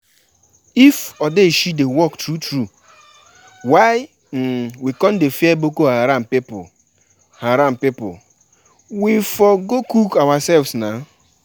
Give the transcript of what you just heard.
Make we um start to dey invite people now, make dem fit come early.